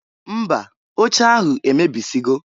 Mba! Oche ahụ emebisigo.